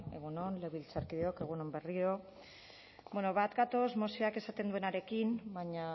egun on legebiltzarkideok egun on berriro ere bat gatoz mozioak esaten duenarekin baina